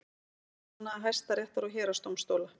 Starfsmanna Hæstaréttar og héraðsdómstóla.